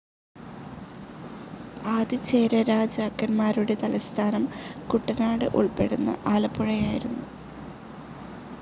ആദിചേരരാജാക്കന്മാരുടെ തലസ്ഥാനം കുട്ടനാട് ഉൾപ്പെടുന്ന ആലപ്പുഴയായിരുന്നു.